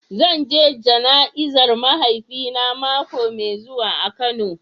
Zan je jana'izar mahaifina mako mai zuwa a kano.